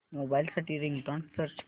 mobile साठी ringtone search कर